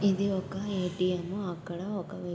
ఇది ఒక ఏ_టి_ఎం . అక్కడ ఒక వ్యక్--